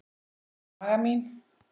Í maga mín